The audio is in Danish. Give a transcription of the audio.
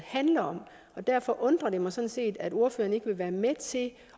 handler om derfor undrer det mig sådan set at ordføreren ikke vil være med til